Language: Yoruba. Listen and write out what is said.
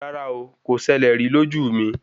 Rárá o, kò ṣẹlẹ̀ rí lójú mi.